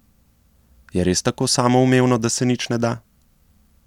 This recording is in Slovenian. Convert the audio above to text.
Je res tako samoumevno, da se nič ne da?